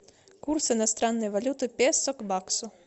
курс иностранной валюты песо к баксу